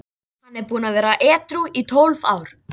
Hann er búinn að vera edrú í tólf ár.